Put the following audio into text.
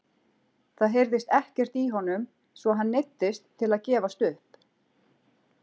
Það heyrðist ekkert í honum svo að hann neyddist til að gefast upp!